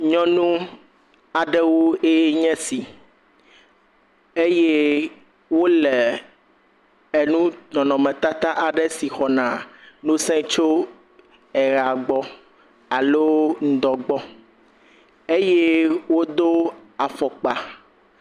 Nyɔnu aɖewo ye nye esi eye woleenu nɔnɔmetata aɖe si xɔna ŋusẽ tso eyea gbɔ alo ŋudɔa gbɔ eye wodo afɔkpa.